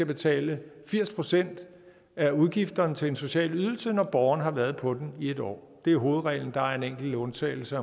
betale firs procent af udgifterne til en social ydelse når borgeren har været på den i en år det er hovedreglen der er en enkelt undtagelse